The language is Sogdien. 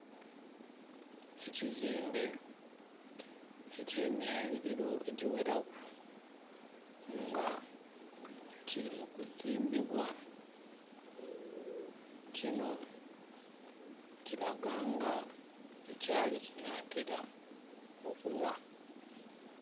Ekizimbe ekye myaliliro egyi ghelaku nga kili mu kuzimbibwa. Kino kiilaga nga ekyali kinatera okugha.